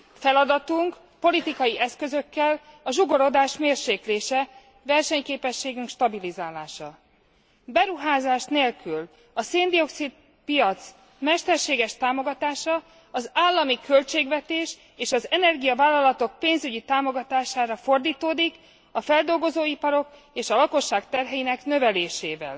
Feladatunk politikai eszközökkel a zsugorodás mérséklése, versenyképességünk stabilizálása. Beruházás nélkül a szén dioxid piac mesterséges támogatása az állami költségvetés és az energiavállalatok pénzügyi támogatására fordítódik, a feldolgozóiparok és a lakosság terheinek növelésével.